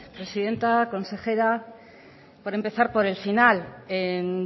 presidenta consejera por empezar por el final en